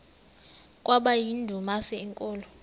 kwaba yindumasi enkulu